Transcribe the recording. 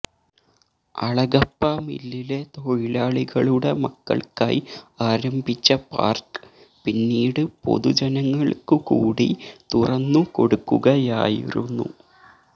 അളഗപ്പ മില്ലിലെ തൊഴിലാളികളുടെ മക്കള്ക്കായി ആരംഭിച്ച പാര്ക്ക് പിന്നീട് പൊതുജനങ്ങള്ക്കുകൂടി തുറന്നു കൊടുക്കുകയായിരുന്നു